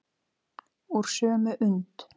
Úr sömu und.